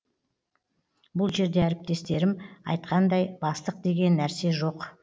бұл жерде әріптестерім айтқандай бастық деген нәрсе жоқ